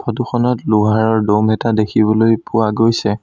Photo খনত লোহাৰৰ দ'ম এটা দেখিবলৈ পোৱা গৈছে।